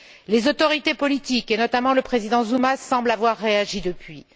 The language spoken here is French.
Les autorités politiques, et notamment le président Zuma, semblent avoir réagi depuis.